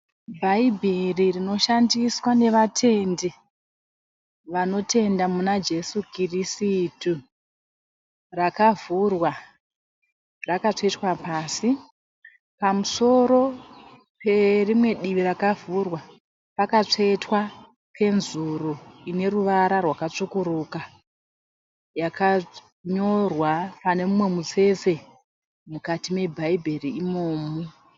Bhaibheri rinoshandiswa nevatendi vanoyenda muna Jesu Kirisitu rakavhurwa rakatsvetwa pasi. Pamusoro perimwe divi rakavhurwa pakatsvetwa penzuru ineruvara rwakatsvukuruka yakanyorwa pane mumwe mutsetse mukati mebhaibheri imomu.